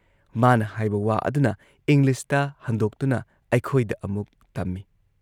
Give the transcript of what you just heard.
ꯃꯥꯅ ꯍꯥꯏꯕ ꯋꯥ ꯑꯗꯨꯅ ꯏꯪꯂꯤꯁꯇ ꯍꯟꯗꯣꯛꯇꯨꯅ ꯑꯩꯈꯣꯏꯗ ꯑꯃꯨꯛ ꯇꯝꯏ ꯫